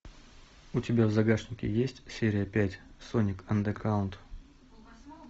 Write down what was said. у тебя в загашнике есть серия пять соник андеграунд